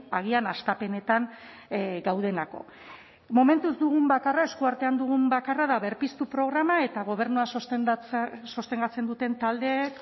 agian hastapenetan gaudelako momentuz dugun bakarra eskuartean dugun bakarra da berpiztu programa eta gobernua sostengatzen duten taldeek